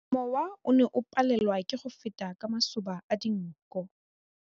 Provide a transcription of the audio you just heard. Mowa o ne o palelwa ke go feta ka masoba a dinko.